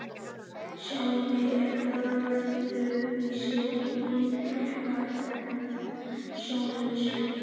Sjáandinn er öðru vísi innréttaður en sjónlausir.